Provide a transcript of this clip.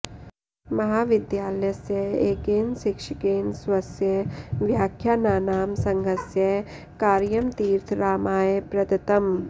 महाविद्यालयस्य एकेन शिक्षकेण स्वस्य व्याख्यानानां संङ्गहस्य कार्यं तीर्थरामाय प्रदत्तम्